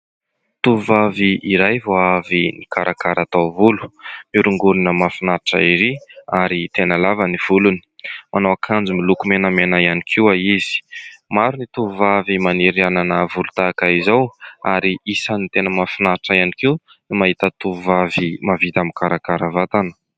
Tovovavy iray vao avy nikarakara taovolo miorongorona mahafinaritra ery ary tena lava ny volony. Manao akanjo miloko menamena ihany koa izy. Maro ny tovovavy maniry hanana volo tahaka izao ary isan'ny tena mahafinaritra ihany koa ny mahita tovovavy mahavita mikarakara vatana